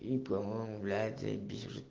и по моему блядь заебись уже